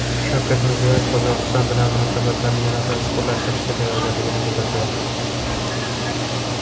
Shavkat Mirziyoyev Qozog‘iston bilan munosabatlarni yanada chuqurlashtirishga tayyorligini bildirdi.